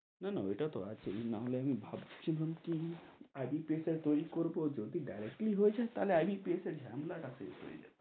না-না, ওইটা তো আছেই নাহলে আমি ভাবছিলাম কি, IBPS টা তৈরী করবো, যদি directly হয়ে যাই তাহলে IBPS এর ঝামেলা তা শেষ হয়ে যাই,